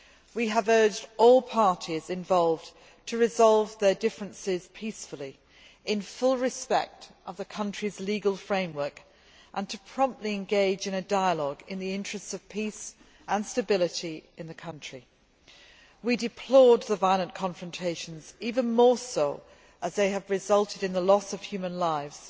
We have urged all parties involved to resolve their differences peacefully in full respect of the country's legal framework and to promptly engage in a dialogue in the interests of peace and stability in the country. We deplored the violent confrontations, even more so as they have resulted in the loss of human lives,